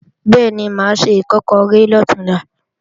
Bẹ́ẹ̀ni, mà á se Ìkọ́kọrẹ́ lọ̀túnla